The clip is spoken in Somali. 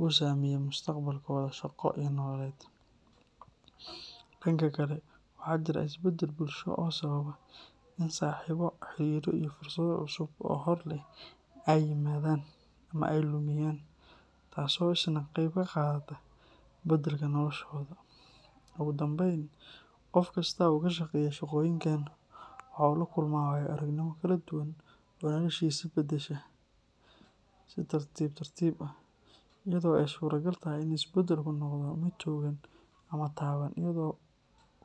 oo saameeya mustaqbalkooda shaqo iyo nololeed. Dhanka kale, waxaa jira isbedel bulsho oo sababa in saaxiibo, xiriirro iyo fursado cusub oo hor leh ay yimaadaan ama ay lumiyaan, taas oo isna qayb ka qaadata beddelka noloshooda. Ugu dambayn, qof kasta oo ka shaqeeya shaqooyinkan waxa uu la kulmaa waayo-aragnimo kala duwan oo noloshiisa beddesha si tartiib tartiib ah, iyadoo ay suuragal tahay in isbedelku noqdo mid togan ama taban iyadoo.